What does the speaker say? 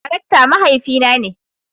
Darakta mahaifi na ne.